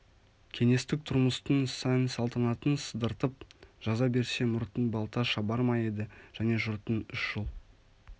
кеңестік тұрмыстың сән-салтанатын сыдыртып жаза берсе мұртын балта шабар ма еді және жұрттың үш жыл